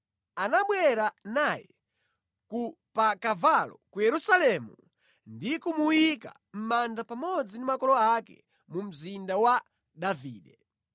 Anabwera naye ku pa kavalo ku Yerusalemu ndi kumuyika mʼmanda pamodzi ndi makolo ake mu Mzinda wa Davide.